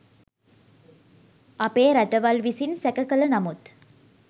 අපේ රටවල් විසින් සැක කළ නමුත්